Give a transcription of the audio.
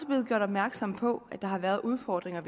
blevet gjort opmærksom på at der har været udfordringer